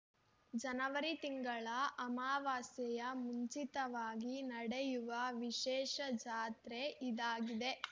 ಜನವರಿ ತಿಂಗಳ ಅಮವಾಸ್ಯೆಯ ಮುಂಚಿತವಾಗಿ ನಡೆಯುವ ವಿಶೇಷ ಜಾತ್ರೆ ಇದಾಗಿದೆ